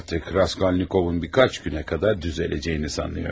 Raskolnikovun bir neçə günə qədər düzələcəyini düşünürəm.